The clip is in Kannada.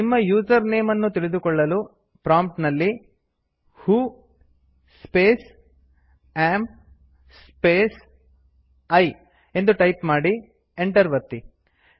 ನಿಮ್ಮ ಯೂಸರ್ ನೇಮ್ ಅನ್ನು ತಿಳಿದುಕೊಳ್ಳಲು ಪ್ರಾಂಪ್ಟ್ ನಲ್ಲಿ who space AM space I ಎಂದು ಟೈಪ್ ಮಾಡಿ ಎಂಟರ್ ಒತ್ತಿ